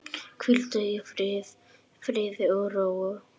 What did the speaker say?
Hvíldu í friði og ró.